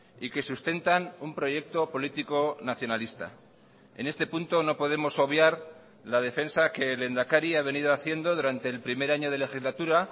y que sustentan un proyecto político nacionalista en este punto no podemos obviar la defensa que el lehendakari ha venido haciendo durante el primer año de legislatura